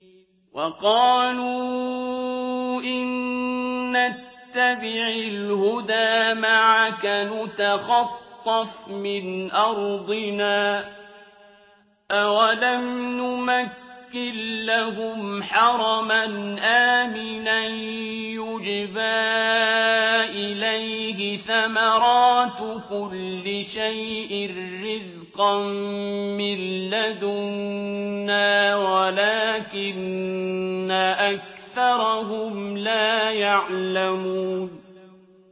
وَقَالُوا إِن نَّتَّبِعِ الْهُدَىٰ مَعَكَ نُتَخَطَّفْ مِنْ أَرْضِنَا ۚ أَوَلَمْ نُمَكِّن لَّهُمْ حَرَمًا آمِنًا يُجْبَىٰ إِلَيْهِ ثَمَرَاتُ كُلِّ شَيْءٍ رِّزْقًا مِّن لَّدُنَّا وَلَٰكِنَّ أَكْثَرَهُمْ لَا يَعْلَمُونَ